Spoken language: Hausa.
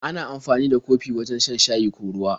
Ana amfani da kofi wajen shan shayi ko ruwa.